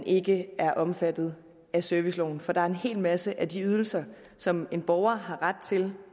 ikke er omfattet af serviceloven for der er en hel masse af de ydelser som en borger har ret til